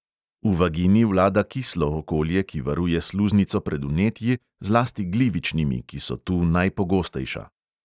V vagini vlada kislo okolje, ki varuje sluznico pred vnetji, zlasti glivičnimi, ki so tu najpogostejša.